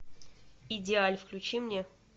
идеаль включи мне